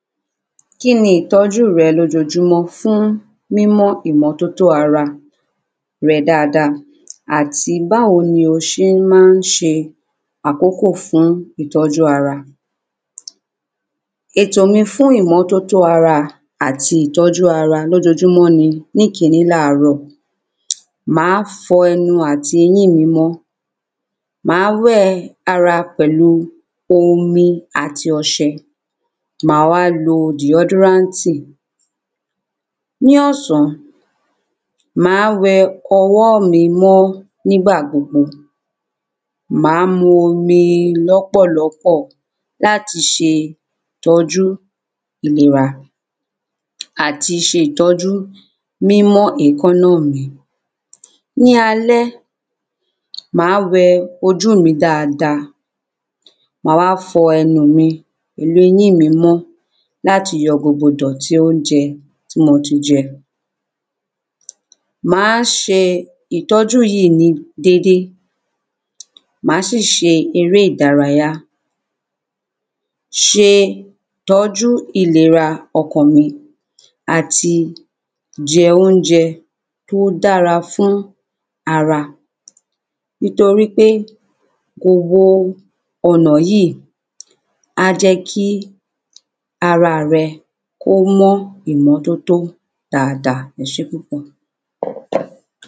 kíni ìtọ́jú rẹ lójojúmọ́ fún mímọ́ ìmọ́tótó ara rẹ dada, àti báwo ni o se ń má se àkókò fún ìtọ́jú ara, ètò mi fún ìmọ́tótó ara àti ìtọ́jú ara lójojúmọ́, ní ikiní, láàrọ, màá fọ ẹnu àti eyin mi mọ, màá wẹ ara pẹ̀lú omi àti ọsẹ, màá wá lo deodoranti, ní ọ̀sán, màá wẹ ọwọ́ mi mọ́ nígbà gbogbo, màá mu omi lọ́pọ̀lọpọ̀ láti se ìtọ́jú ìlera àti se ìtọ́jú mímọ́ èkánná mi, ní alẹ́, màá wẹ ojú mi dada, mà wá fọ ẹnu mi pẹ̀lú eyín mi mọ́ láti yọ gbogbo ìdọ̀tí oúnjẹ tí mo ti jẹ, màá se ìtọ́jú yìí ní dédé, mà síì se eré ìdárayá, se ìtọ́jú ìlera ọkàn mi, àti jẹ oúnjẹ tó dára fún ara, nítorí pé kò wo ọ̀nà yí, á jẹ́ kí ara á rẹ kó mọ́ ìmọ́tótó dada, ẹsè púpọ̀.